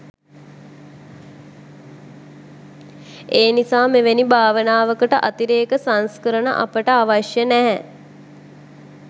ඒනිසා මෙවැනි භාවනාවකට අතිරේක සංස්කරණ අපට අවශ්‍ය නෑ